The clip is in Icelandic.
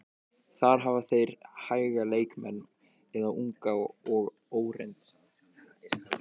Þar hafa þeir hæga leikmenn eða unga og óreynda.